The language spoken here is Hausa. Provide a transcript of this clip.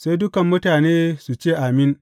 Sai dukan mutane su ce, Amin!